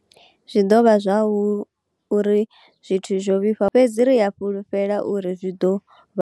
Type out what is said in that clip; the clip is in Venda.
Zwi ḓo vha hu uri zwithu zwo vhifha, fhedzi ri a fhulufhela uri zwi ḓo vha.